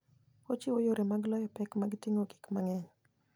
Ochiwo yore mag loyo pek mag ting'o gik mang'eny.